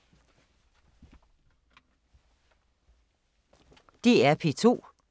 DR P2